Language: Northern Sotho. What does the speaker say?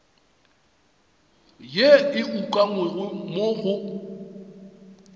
yeo e ukangwego mo go